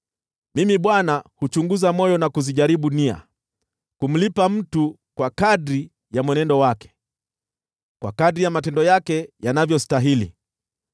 “Mimi Bwana huchunguza moyo na kuzijaribu nia, ili kumlipa mtu kwa kadiri ya mwenendo wake, kwa kadiri ya matendo yake yanavyostahili.”